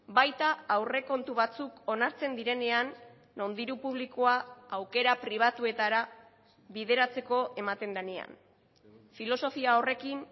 baita aurrekontu batzuk onartzen direnean non diru publikoa aukera pribatuetara bideratzeko ematen denean filosofia horrekin